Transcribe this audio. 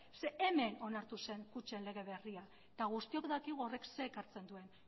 zeren eta hemen onartu zen kutxen lege berria eta guztiok dakigu horrek zer ekartzen duen